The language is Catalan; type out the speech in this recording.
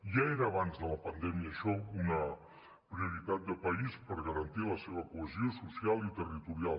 ja era abans de la pandèmia això una prioritat de país per garantir la seva cohesió social i territorial